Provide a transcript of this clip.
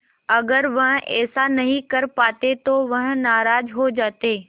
अगर वह ऐसा नहीं कर पाते तो वह नाराज़ हो जाते